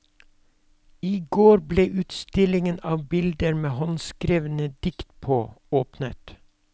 I går ble utstillingen av bilder med håndskrevne dikt på åpnet.